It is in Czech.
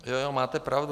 Jo, jo, máte pravdu.